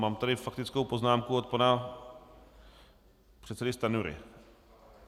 Mám tady faktickou poznámku od pana předsedy Stanjury.